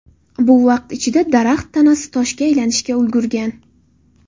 Bu vaqt ichida daraxt tanasi toshga aylanishga ulgurgan.